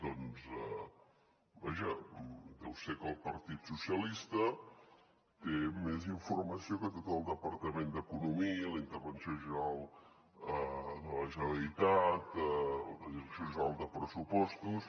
doncs vaja deu ser que el partit socialista té més informació que tot el departament d’economia la intervenció general de la generalitat la direcció general de pressupostos